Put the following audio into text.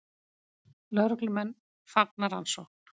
Lögreglumenn fagna rannsókn